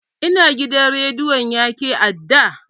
Ina gidan rediyon yake a da?